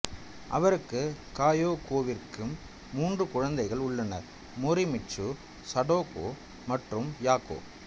அவருக்கும் கயோகோவிற்கும் மூன்று குழந்தைகள் உள்ளனர் மோரிமிட்சு சடோகோ மற்றும் யாகோ